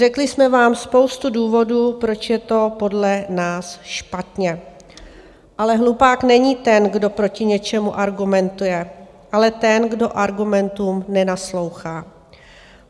Řekli jsme vám spoustu důvodů, proč je to podle nás špatně, ale hlupák není ten, kdo proti něčemu argumentuje, ale ten, kdo argumentům nenaslouchá.